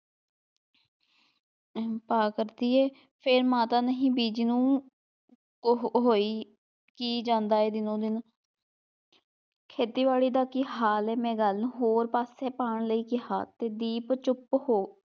ਭਾਅ ਕਰਦੀ ਹੈ ਫਿਰ ਮਾਤਾ ਨਹੀਂ ਬੀਜੀ ਨੂੰ ਉਹ ਹੋਈ ਕੀ ਜਾਂਦਾ ਹੈ ਦਿਨੋ ਦਿਨ ਖੇਤੀਬਾੜੀ ਦਾ ਕੀ ਹਾਲ ਹੈ ਮੈਂ ਗੱਲ ਹੋਰ ਪਾਸੇ ਪਾਉਣ ਲਈ ਕਿਹਾ ਤੇ ਦੀਪ ਚੁੱਪ ਹੋ,